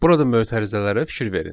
Burada mötərizələri fikir verin.